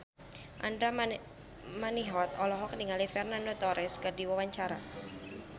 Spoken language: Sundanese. Andra Manihot olohok ningali Fernando Torres keur diwawancara